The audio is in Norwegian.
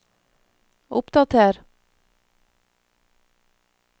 oppdater